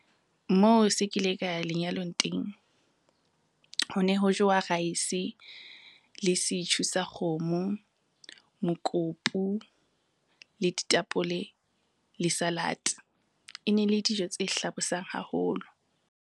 Moo se kile ka ya lenyalong teng, ho ne ho jewa raese le setjhu sa kgomo, mokopu, le ditapole le salad. E ne le dijo tse hlabosang haholo.